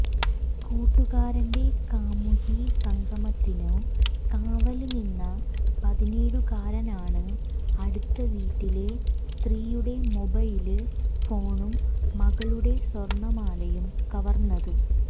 കൂട്ടുകാരന്റെ കാമുകീസംഗമത്തിനു കാവല് നിന്ന പതിനേഴുകാരനാണ് അടുത്ത വീട്ടിലെ സ്ത്രീയുടെ മൊബൈല് ഫോണും മകളുടെ സ്വര്ണമാലയും കവര്ന്നത്